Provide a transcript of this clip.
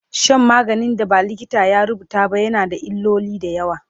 Shan maganin da ba likita ya rubuta ba na yana da illoli da yawa